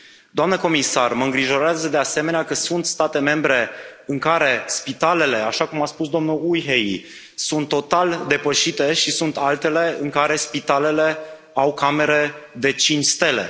Doamnă comisar, mă îngrijorează, de asemenea, că sunt state membre în care spitalele așa cum a spus domnul Ujhelyi sunt total depășite și sunt altele în care spitalele au camere de cinci stele.